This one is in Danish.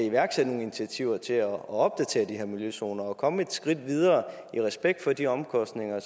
iværksætte nogle initiativer til at opdatere de her miljøzoner og komme et skridt videre i respekt for de omkostninger